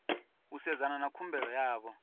u sedzana na khumbelo yavho